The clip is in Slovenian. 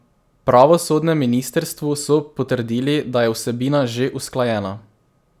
Na pravosodnem ministrstvu so potrdili, da je vsebina že usklajena.